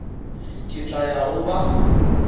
ke tla ya go ba